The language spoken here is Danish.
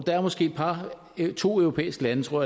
der er måske et par to europæiske lande tror